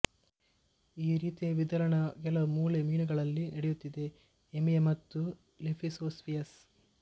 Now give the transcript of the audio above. ಈ ರೀತಿಯ ವಿದಳನ ಕೆಲವು ಮೂಳೆ ಮೀನುಗಳಲ್ಲಿ ನಡೆಯುತ್ತದೆ ಏಮಿಯಾ ಮತ್ತು ಲೆಫಿಸೋಸ್ಪಿಯಸ್